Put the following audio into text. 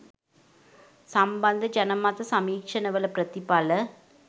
සම්බන්ධ ජනමත සමීක්ෂණවල ප්‍රතිඵල